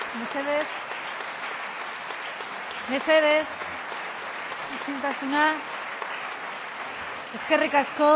mesedez mesedez isiltasuna eskerrik asko